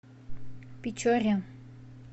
печоре